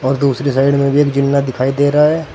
और दूसरी साइड में भी एक जीना दिखाई दे रहा है।